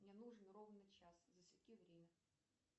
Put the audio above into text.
мне нужен ровно час засеки время